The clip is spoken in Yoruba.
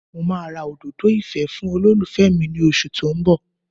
Mo máa ra òdòdó ìfẹ́ fún olólùfẹ́ mi ní oṣù tó ń bọ̀